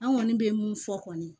An kɔni bɛ mun fɔ kɔni